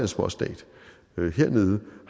småstat har vi hernede